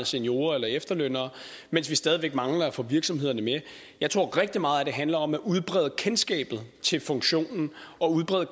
seniorer eller efterlønnere mens vi stadig væk mangler at få virksomhederne med jeg tror at rigtig meget at det handler om at udbrede kendskabet til funktionen og udbrede